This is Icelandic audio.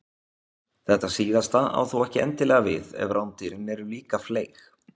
Þetta síðasta á þó ekki endilega við ef rándýrin eru líka fleyg.